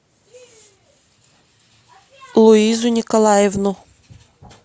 луизу николаевну